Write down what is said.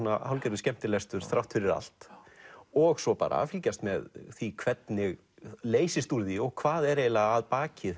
hálfgerður skemmtilestur þrátt fyrir allt og svo bara að fylgjast með því hvernig leysist úr því og hvað er eiginlega að baki